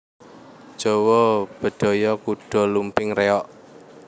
Jawa Bedhaya Kuda Lumping Reog